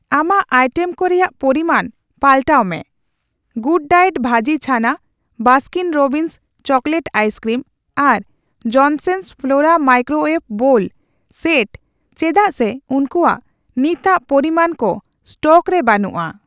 ᱟᱢᱟᱜ ᱟᱭᱴᱮᱢ ᱠᱚ ᱨᱮᱭᱟᱜ ᱯᱚᱨᱤᱢᱟᱱ ᱯᱟᱞᱴᱟᱣ ᱢᱮ ᱜᱩᱰᱰᱟᱭᱮᱴ ᱵᱷᱟᱹᱡᱤ ᱪᱷᱟᱱᱟ, ᱵᱟᱥᱠᱤᱱ ᱨᱚᱵᱵᱤᱱᱥ ᱪᱚᱠᱞᱮᱴ ᱟᱭᱥᱠᱨᱤᱢ ᱟᱨ Jensons Flora microwave bowl set ᱪᱮᱫᱟᱜ ᱥᱮ ᱩᱝᱠᱩᱣᱟᱜ ᱱᱤᱛᱟᱜ ᱯᱚᱨᱤᱢᱟᱱ ᱠᱚ ᱮᱥᱴᱚᱠ ᱨᱮ ᱵᱟᱹᱱᱩᱜᱼᱟ ᱾